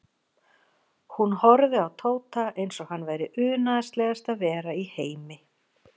Hún horfði á Tóta eins og hann væri unaðslegasta vera í heimi.